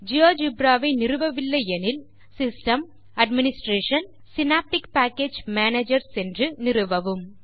GeoGebra வை நிறுவவில்லை எனில் system administration Synaptic package manager சென்று நிறுவவும்